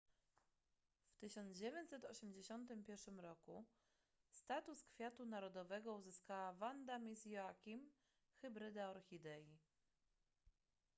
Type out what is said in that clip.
w 1981 roku status kwiatu narodowego uzyskała vanda miss joaquim hybryda orchidei